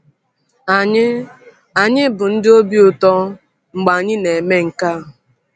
Anyị Anyị bụ ndị obi ụtọ mgbe anyị na-eme nke a.